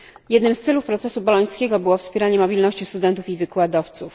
Jednym z celów procesu bolońskiego było wspieranie mobilności studentów i wykładowców.